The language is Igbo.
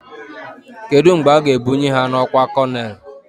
Kedụ mgbe a ga ebnuyi ha n'ọkwá konel?